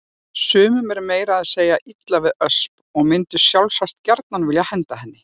Sumum er meira að segja illa við Ösp og mundu sjálfsagt gjarnan vilja henda henni.